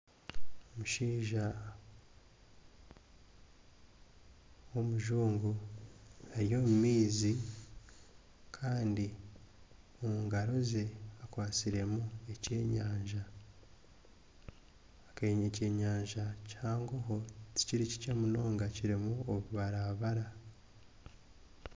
Omushaija w'omujungu ari omu maizi. kandi omu ngaro ze akwatsiremu ekyenyanja kandi n'ekyenyanja kihango ho tikiri kikye munonga kirimu obubarabara.